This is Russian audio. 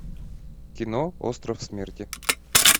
кино остров смерти